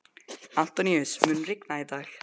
Antóníus, mun rigna í dag?